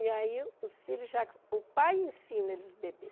E aí, os filhos já... O pai ensina eles beber.